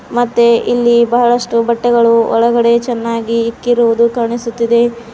ಮತ್ತೆ ಇಲ್ಲಿ ಬಹಳಷ್ಟು ಬಟ್ಟೆಗಳು ಒಳಗಡೆ ಚೆನ್ನಾಗಿ ಇಕ್ಕಿರುವುದು ಕಾಣಿಸುತ್ತಿದೆ.